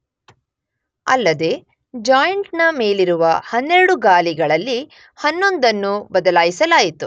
ಅಲ್ಲದೇ ಜಾಯಿಂಟ್ ನ ಮೇಲಿರುವ 12 ಗಾಲಿಗಳಲ್ಲಿ 11 ಅನ್ನು ಬದಲಾಯಿಸಲಾಯಿತು.